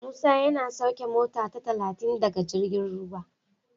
Musa yana sauke mota ta talatin daga jirgin ruwa.